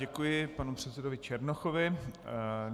Děkuji panu předsedovi Černochovi.